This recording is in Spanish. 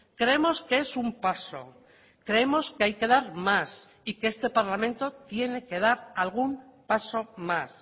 creemos que es un paso creemos que hay que dar más y que este parlamento tiene que dar algún paso más